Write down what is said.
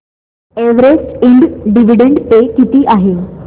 Everest इंड dividend pay किती आहे